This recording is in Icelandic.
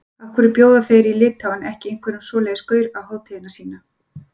Af hverju bjóða þeir í Litháen ekki einhverjum svoleiðis gaur á hátíðina sína?